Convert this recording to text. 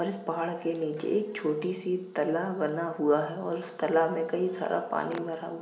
और इस पहाड़ के नीचे एक छोटी सी तलाब बना हुआ है और इस तलाब मे कई सारा पानी भरा हुआ --